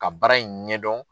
Ka baara in ɲɛdɔn.